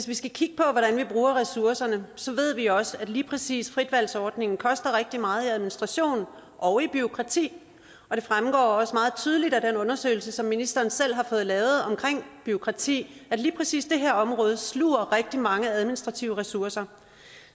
vi skal kigge på hvordan vi bruger ressourcerne så ved vi også at lige præcis fritvalgsordningen koster rigtig meget i administration og i bureaukrati det fremgår også meget tydeligt af den undersøgelse som ministeren selv har fået lavet om bureaukrati at lige præcis det her område sluger rigtig mange administrative ressourcer